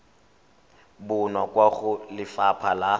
bonwa kwa go lefapha la